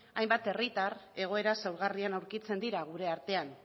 hainbat herritar egoera zaurgarrian aurkitzen dira gure artean